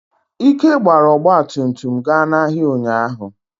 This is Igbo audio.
Ike gbara ọgba tum tum ga n'ahịa ụnyahụ.